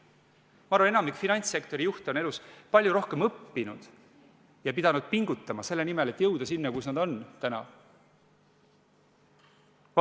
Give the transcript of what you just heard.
Ma arvan, et enamik finantssektori juhte on elus palju rohkem õppinud ja pidanud pingutama selle nimel, et jõuda sinna, kus nad täna on.